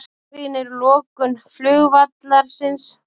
Gagnrýnir lokun flugvallarins